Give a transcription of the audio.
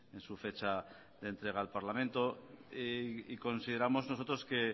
en su fecha de entrega al parlamento y consideramos nosotros que